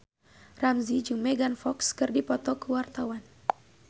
Ramzy jeung Megan Fox keur dipoto ku wartawan